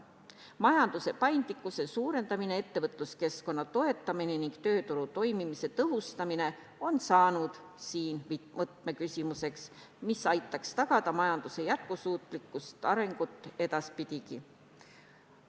Majanduse paindlikkuse suurendamine, ettevõtluskeskkonna toetamine ning tööturu toimimise tõhustamine on saanud võtmeküsimuseks, mis aitaks tagada majanduse jätkusuutlikkust ja arengut edaspidigi.